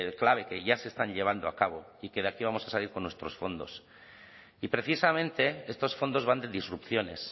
clave que ya se están llevando a cabo y que aquí vamos a salir con nuestros fondos y precisamente estos fondos van de disrupciones